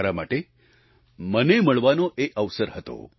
મારા માટે મને મળવાનો એ અવસર હતો